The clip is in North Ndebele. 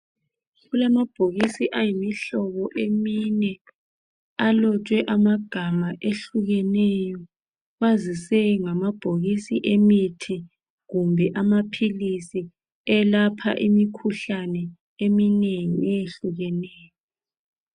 Kulamabhokisi ayimihlobo emine alotshwe amagama ehlukeneyo. Kwazise ngamabhokisi emithi kumbe amaphilisi elapha imikhuhlane eminengi eyehlukeneyo.